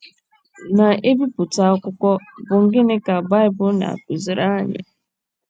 na - ebipụta akwụkwọ bụ́ Gịnị Ka Baịbụl Na - akụziri Anyị?